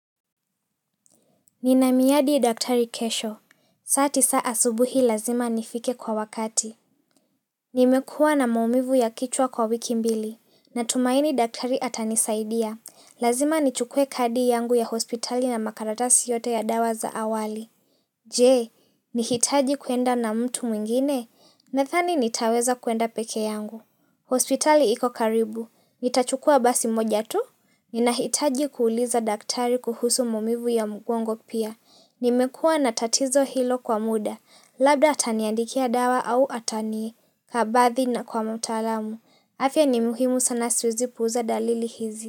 Nina miadi ya daktari kesho. Saa tisa subuhi lazima nifike kwa wakati. Nimekua na maumivu ya kichwa kwa wiki mbili. Na tumaini daktari atanisaidia. Lazima nichukue kadi yangu ya hospitali na makaratasi yote ya dawa za awali. Je, nihitaji kwenda na mtu mwingine? Nadhani nitaweza kuenda peke yangu. Hospitali iko karibu. Nitachukua basi moja tu? Ninahitaji kuuliza daktari kuhusu maumivu ya mgongo pia. Nimekua na tatizo hilo kwa muda, labda ataniandikia dawa au atanikabadhi na kwa mutalamu. Afya ni muhimu sana siwezi puuza dalili hizi.